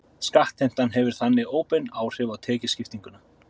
Skattheimtan hefur þannig óbein áhrif á tekjuskiptinguna.